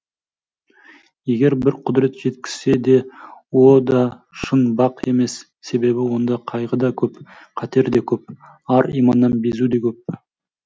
егер бір құдірет жеткізсе де о да шын бақ емес себебі онда қайғы да көп қатер де көп ар иманнан безу де көп